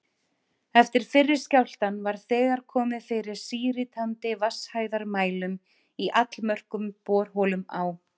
Eftir fyrri skjálftann var þegar komið fyrir síritandi vatnshæðarmælum í allmörgum borholum á